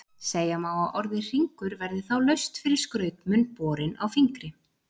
Segja má að orðið hringur verði þá laust fyrir skrautmun borinn á fingri.